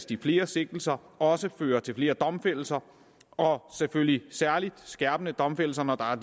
de flere sigtelser også fører til flere domfældelser og selvfølgelig særlig skærpede domfældelser når der er